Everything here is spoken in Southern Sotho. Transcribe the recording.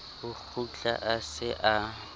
o kgutla a se a